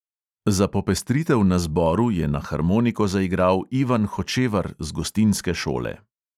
Za popestritev na zboru je na harmoniko zaigral ivan hočevar z gostinske šole.